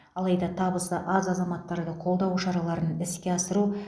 алайда табысы аз азаматтарды қолдау шараларын іске асыру